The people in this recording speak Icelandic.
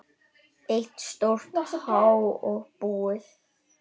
Eitt stórt há og búið.